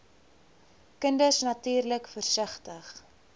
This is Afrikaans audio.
kinders natuurlik versigtig